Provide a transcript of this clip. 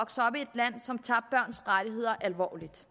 at som tager børns rettigheder alvorligt